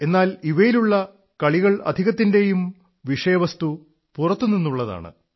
എന്നാൽ ഇവയിലുള്ള കളികളിലധികത്തിന്റെയും വിഷയവസ്തു പുറത്തുനിന്നുള്ളതാണ്